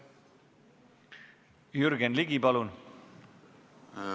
Jürgen Ligi, palun!